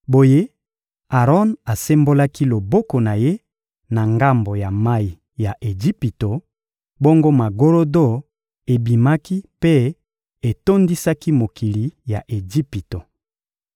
Boye Aron asembolaki loboko na ye na ngambo ya mayi ya Ejipito; bongo magorodo ebimaki mpe etondisaki mokili ya Ejipito.